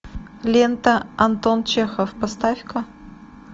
лента антон чехов поставь ка